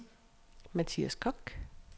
Mathias Kock